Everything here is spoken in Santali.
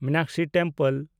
ᱢᱤᱱᱟᱠᱥᱤ ᱴᱮᱢᱯᱮᱞ